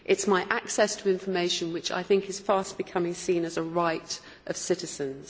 It is my access to information, which I think is fast becoming seen as a right of citizens.